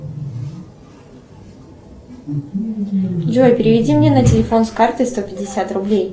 джой переведи мне на телефон с карты сто пятьдесят рублей